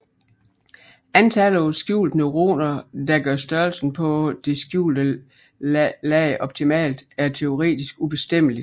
Antallet af skjulte neuroner der gør størrelsen på det skjulte lag optimalt er teoretisk ubestemmeligt